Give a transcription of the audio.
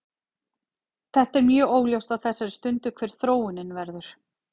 Þetta er mjög óljóst á þessari stundu hver þróunin verður.